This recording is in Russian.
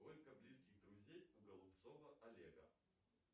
сколько близких друзей у голубцова олега